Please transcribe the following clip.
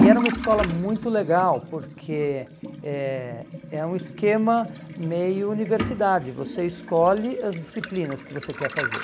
E era uma escola muito legal, porque é é um esquema meio universidade, você escolhe as disciplinas que você quer fazer.